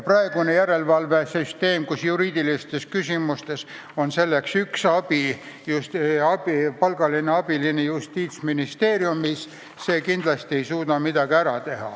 Praeguse järelevalve puhul on juriidiliste küsimustega tegemiseks Justiitsministeeriumis üks palgaline töötaja, kes kindlasti ei suuda midagi ära teha.